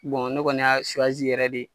Bɔn ne kɔni y'a yɛrɛ de.